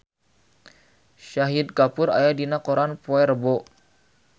Shahid Kapoor aya dina koran poe Rebo